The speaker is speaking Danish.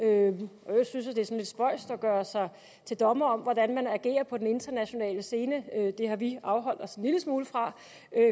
øvrigt synes er lidt spøjst at gøre sig til dommer over hvordan man agerer på den internationale scene det har vi afholdt os en lille smule fra